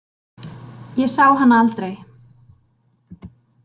Ég sá hana aldrei.